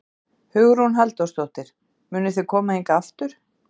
Hugrún Halldórsdóttir: Munuð þið koma hingað aftur?